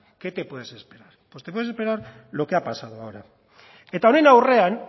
qué te puedes esperar pues te puedes esperar lo que ha pasado ahora eta honen aurrean